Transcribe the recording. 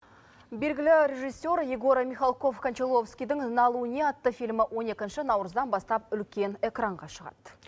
белгілі режиссер егор михалков кончаловскийдің на луне атты фильмі он екінші наурыздан бастап үлкен экранға шығад